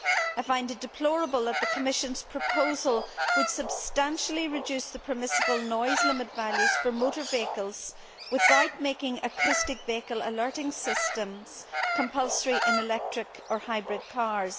I find it deplorable that the Commission proposal would substantially reduce the permissible noise limit values for motor vehicles without making acoustic vehicle alerting systems compulsory in electric or hybrid cars.